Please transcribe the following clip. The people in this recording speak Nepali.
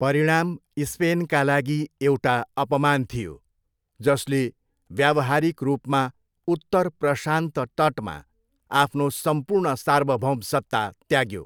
परिणाम स्पेनका लागि एउटा अपमान थियो, जसले व्यावहारिक रूपमा उत्तर प्रशान्त तटमा आफ्नो सम्पूर्ण सार्वभौमसत्ता त्याग्यो।